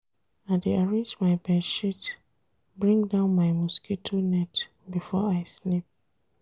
I dey arrange my bed sheet, bring down my mosquito net before I sleep.